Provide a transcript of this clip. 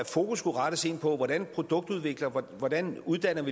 fokus skulle rettes ind på hvordan vi produktudvikler hvordan vi uddanner